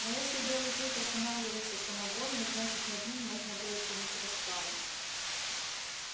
но если белый клык останавливается самовольно значит над ним можно было чинить расправу